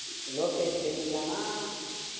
Lokesh பேசிருக்காரான